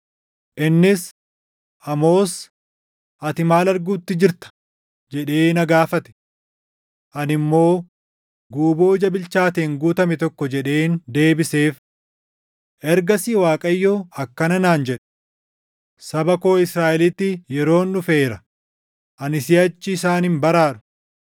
Innis, “Amoos, ati maal arguutti jirta?” jedhee na gaafate. Ani immoo, “Guuboo ija bilchaateen guutame tokko” jedheen deebiseef. Ergasii Waaqayyo akkana naan jedhe; “Saba koo Israaʼelitti yeroon dhufeera; ani siʼachi isaan hin baraaru.”